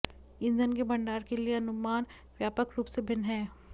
ईंधन के भंडार के लिए अनुमान व्यापक रूप से भिन्न हैं